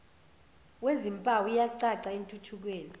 wezimpawu iyacaca entuthukweni